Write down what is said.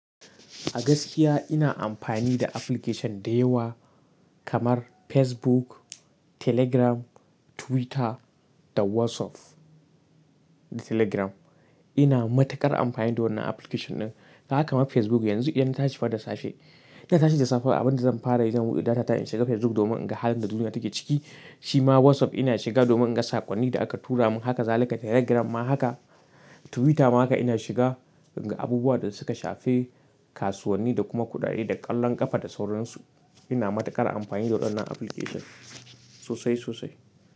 A gaskiya ina amfani da application da yawa kamar Facebook, Telegram, Twitter da WhatsApp. Da Telegram ina matukar amfani da wannan application ɗin. Haka ma Facebook yanzu idan na tashi fa da safe, ina tashe da safe abin da zan fara yi zan buɗe data in shiga Facebook domin in ga halin da duniya take ciki. Shi ma WhatsApp ina shiga domin in ga saƙonnin da aka tura min. Haka zalika Telegram ma haka. Twitter ma haka ina shiga in ga abubuwan da suka shafe kasuwanni da kuma kuɗaɗe da ƙwallon ƙafa da sauransu. Ina matuƙar amfani da wannan application sosai, sosai.